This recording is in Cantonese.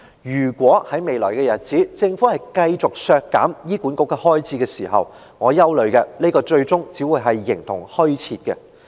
如果在未來日子，政府繼續削減醫管局的開支，我憂慮的是，這個中心最終只會形同虛設。